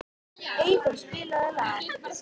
Einþór, spilaðu lag.